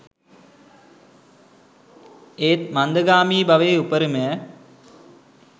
ඒත් මන්දගාමී බවේ උපරිමය